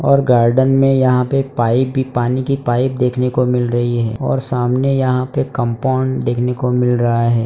और गार्डन में यहां पे पाइप भी पानी की पाइप देखने को मिल रही है और सामने यहां पे कंपाउंड देखने को मिल रहा है।